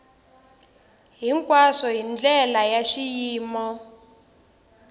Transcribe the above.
hinkwaswo hi ndlela ya xiyimo